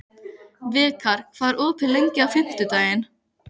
Vikar, hvað er opið lengi á fimmtudaginn?